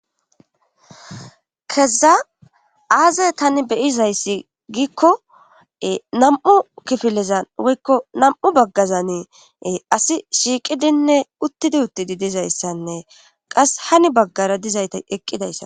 keza aazey tani beyizayssi giikko nam7u kifilizan woykko nam7u baggazani asi shiiqidinne uttidi uttidi dizayssanne qas hani baggara dizayta eqqidayssa